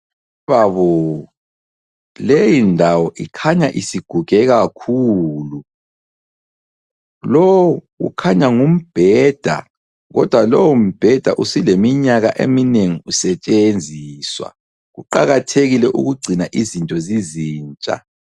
Mayibabo! Leyindawo ikhanya isiguge kakhulu. Lowu ukhanya ngumbheda, kodwa lowombheda usuleminyaka usetshenziswa. Kuqakathekile ukugcina izinto zizintsha.